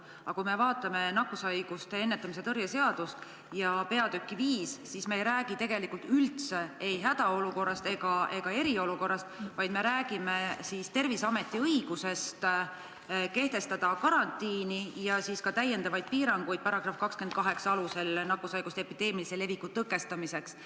Aga kui vaatame nakkushaiguste ennetamise ja tõrje seaduse 5. peatükki, siis me ei räägi tegelikult üldse ei hädaolukorrast ega eriolukorrast, vaid me räägime Terviseameti õigusest kehtestada karantiin ja § 28 alusel ka täiendavaid piiranguid nakkushaiguste epideemilise leviku tõkestamiseks.